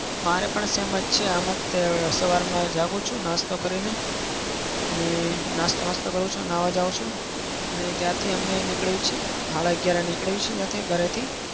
મારે પણ same જ છે. આમ જ તે સવારમાં જાગું છું નાસ્તો કરીને. અને નાસ્તો બાસતો કરું છું, નાહવા જાઉં છું ને ત્યાંથી અમે નીકળીએ છીએ હાડા અગિયારએ નીકળીએ છીએ ઘરેથી.